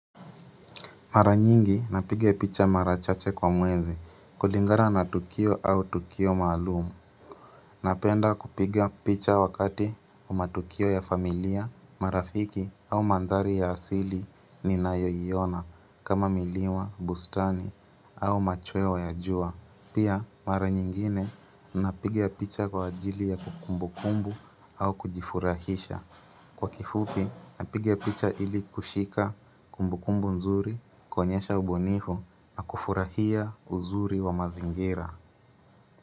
Mara nyingi napiga picha mara chache kwa mwezi kulingana na tukio au tukio maalumu. Napenda kupiga picha wakati wa matukio ya familia, marafiki au mandhari ya asili ninayoiona kama milima, bustani au machweo ya jua. Pia, mara nyingine napiga picha kwa ajili ya kumbukumbu au kujifurahisha. Kwa kifupi napiga picha ili kushika kumbukumbu nzuri kuonyesha ubunifu na kufurahia uzuri wa mazingira.